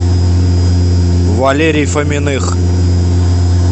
валерий фоминых